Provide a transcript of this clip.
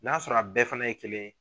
N'a sɔrɔ a bɛɛ fana ye kelen ye